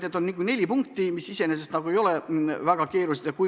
Need neli punkti iseenesest nagu ei ole väga keerulised.